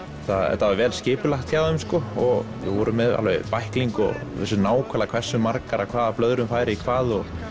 þetta var vel skipulagt hjá þeim og þeir voru með bækling og vissu nákvæmlega hversu margar af hvaða blöðrum færi í hvað og